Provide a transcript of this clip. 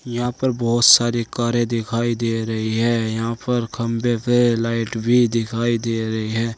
यहां पर बहुत सारी कारें दिखाई दे रही है यहां पर खंभे पे लाइट भी दिखाई दे रही है।